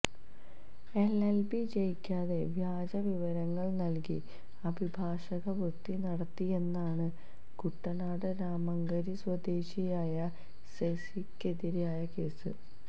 LLB ജയിക്കാതെ വ്യാജ വിവരങ്ങൾ നൽകി അഭിഭാഷകവൃത്തി നടത്തിയെന്നാണ് കുട്ടനാട് രാമങ്കരി സ്വദേശിയായ സെസിക്കെതിരായ കേസ്